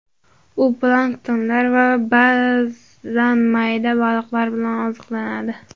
U planktonlar va ba’zan mayda baliqlar bilan oziqlanadi.